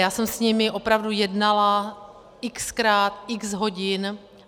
Já jsem s nimi opravdu jednala x-krát, x hodin.